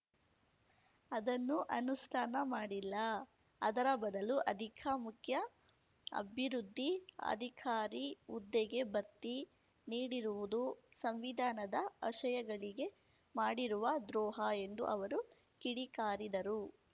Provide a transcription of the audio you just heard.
ಅದನ್ನು ಅನುಷ್ಠಾನ ಮಾಡಿಲ್ಲ ಅದರ ಬದಲು ಅಧಿಕ ಮುಖ್ಯ ಅಭಿವೃದ್ಧಿ ಅಧಿಕಾರಿ ಹುದ್ದೆಗೆ ಬತ್ತಿ ನೀಡಿರುವುದು ಸಂವಿಧಾನದ ಆಶಯಗಳಿಗೆ ಮಾಡಿರುವ ದ್ರೋಹ ಎಂದು ಅವರು ಕಿಡಿಕಾರಿದರು